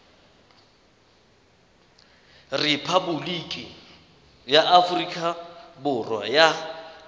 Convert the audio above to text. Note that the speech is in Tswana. repaboliki ya aforika borwa ya